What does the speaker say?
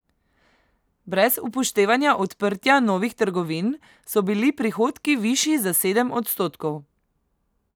Brez upoštevanja odprtja novih trgovin so bili prihodki višji za sedem odstotkov.